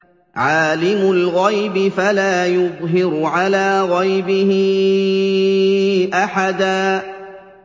عَالِمُ الْغَيْبِ فَلَا يُظْهِرُ عَلَىٰ غَيْبِهِ أَحَدًا